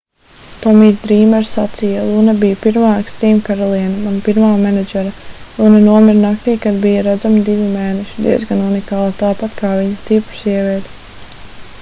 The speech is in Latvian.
tomijs drīmers sacīja luna bija pirmā extreme karaliene mana pirmā menedžere luna nomira naktī kad bija redzami divi mēneši diezgan unikāli tāpat kā viņa stipra sieviete